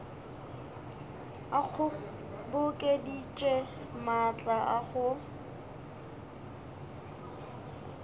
a kgobokeditše maatla a go